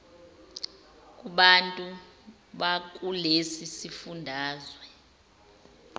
kubantu bakulesi sifundazwe